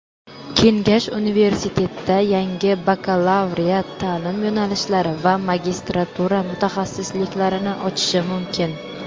Kengash Universitetda yangi bakalavriat taʼlim yo‘nalishlari va magistratura mutaxassisliklarini ochishi mumkin.